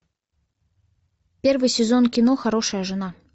первый сезон кино хорошая жена